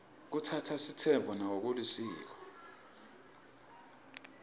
kutsatsa sitsembu nako kulisiko